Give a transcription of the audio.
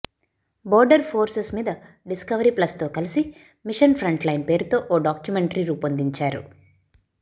border forces మీద Discovery ప్లస్తో కలిసి మిషన్ ఫ్రంట్ లైన్ పేరుతో ఓ డాక్యుమెంటరీ రూపొందించారు